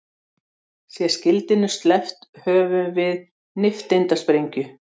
Sé skildinum sleppt höfum við nifteindasprengju.